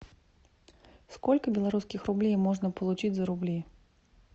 сколько белорусских рублей можно получить за рубли